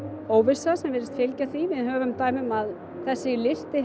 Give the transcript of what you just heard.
óvissa sem virðist fylgja því við höfum dæmi um að þessi listi